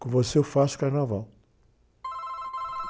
Com você eu faço carnaval.